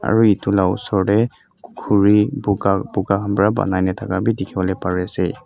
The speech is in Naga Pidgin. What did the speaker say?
aro eto laga osor teh kori puka puka kan bara ponaina taka teki ase.